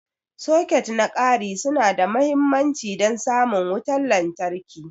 Soket na ƙari su na da mahimmanci don samun wutar lantarki.